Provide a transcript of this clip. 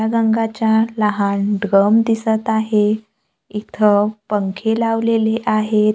रंगाचा लहान ड्रम दिसत आहे इथं पंखे लावलेले आहेत.